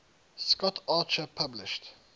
scott archer published